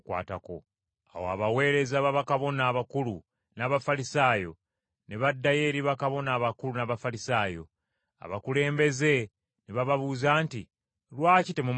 Awo abaweereza b’abakabona abakulu n’Abafalisaayo ne baddayo eri bakabona abakulu n’Abafalisaayo. Abakulembeze Ne bababuuza nti, “Lwaki temumuleese?”